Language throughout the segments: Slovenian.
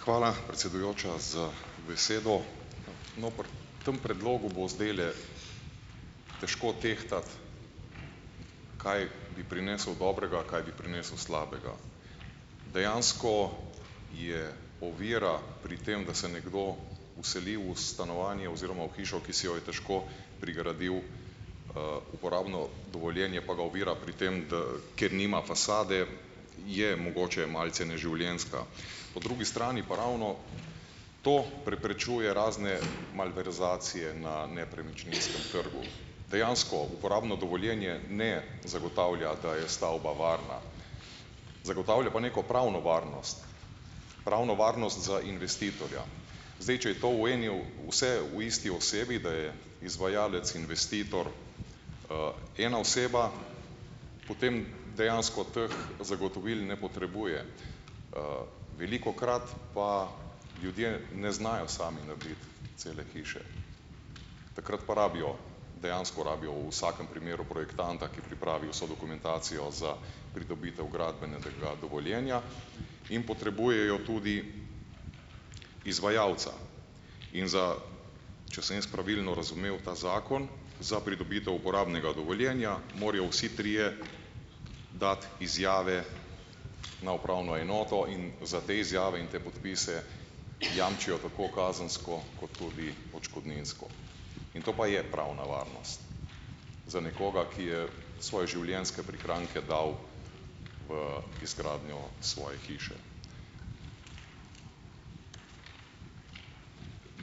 Hvala, predsedujoča, za besedo! No, pri tem predlogu bo zdajle težko tehtati, kaj bi prinesel dobrega, kaj bi prinesel slabega. Dejansko je ovira pri tem, da se nekdo vseli v stanovanje oziroma v hišo, ki si jo je težko prigradil, uporabno dovoljenje pa ga ovira pri tem, da ker nima fasade, je mogoče malce neživljenjska. Po drugi strani pa ravno to preprečuje razne malverzacije na nepremičninskem trgu. Dejansko uporabno dovoljenje ne zagotavlja, da je stavba varna, zagotavlja pa neko pravno varnost, pravno varnost za investitorja. Zdaj, če je to v eni o vse v isti osebi, da je izvajalec investitor, ena oseba, potem dejansko teh zagotovil ne potrebuje. Velikokrat pa ljudje ne znajo sami narediti cele hiše, takrat pa rabijo, dejansko rabijo v vsakem primeru projektanta, ki pripravi vso dokumentacijo za pridobitev gradbenega dovoljenja, in potrebujejo tudi izvajalca. In za, če sem jaz pravilno razumel ta zakon, za pridobitev uporabnega dovoljenja morajo vsi trije dati izjave na upravno enoto in za te izjave in te podpise jamčijo tako kazensko kot tudi odškodninsko. In to pa je pravna varnost za nekoga, ki je svoje življenjske prihranke dal v izgradnjo svoje hiše.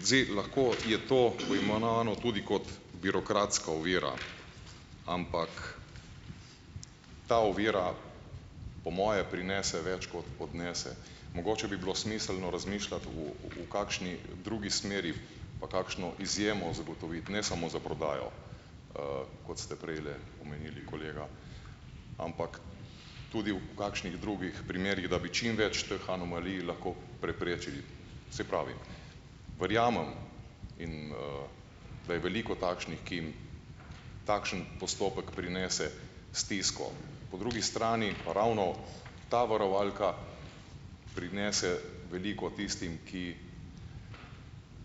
Zdaj, lahko je to poimenovano tudi kot birokratska ovira, ampak ta ovira po moje prinese več, kot odnese. Mogoče bi bilo smiselno razmišljati v kakšni drugi smeri, pa kakšno izjemo zagotoviti, ne samo za prodajo, kot ste prejle omenili, kolega, ampak tudi v kakšnih drugih primerih, da bi čim več teh anomalij lahko preprečili. Saj pravim, verjamem, in, da je veliko takšnih, ki jim takšen postopek prinese stisko. Po drugi strani pa ravno ta varovalka prinese veliko tistim, ki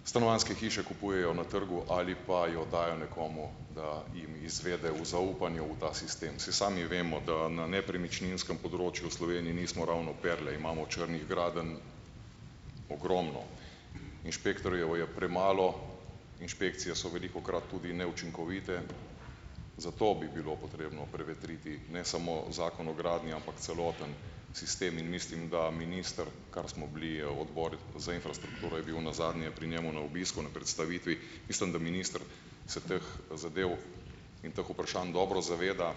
stanovanjske hiše kupujejo na trgu ali pa jo dajo nekomu, da jim izvede v zaupanju v ta sistem. Saj sami vemo, da na nepremičninskem področju v Sloveniji nismo ravno perle, imamo črnih gradenj ogromno. Inšpektorjev je premalo, inšpekcije so velikokrat tudi neučinkovite, zato bi bilo potrebno prevetriti ne samo zakon o gradnji, ampak celoten sistem. In mislim, da minister, kar, smo bili, odbor za infrastrukturo je bil nazadnje pri njem na obisku na predstavitvi, mislim, da minister se teh zadev in teh vprašanj dobro zaveda,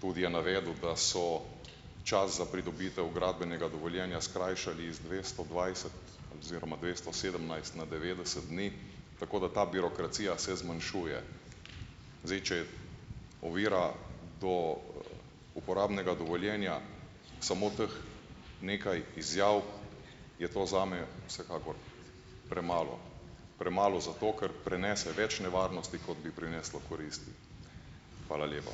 tudi je navedel, da so čas za pridobitev gradbenega dovoljenja skrajšali iz dvesto dvajset oziroma dvesto sedemnajst na devetdeset dni, tako da ta birokracija se zmanjšuje. Zdaj, če ovira do uporabnega dovoljenja samo teh nekaj izjav, je to zame vsekakor premalo, premalo zato, ker prenese več nevarnosti, kot bi prineslo koristi. Hvala lepa.